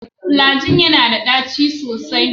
Flagyl yana da ɗaci sosai.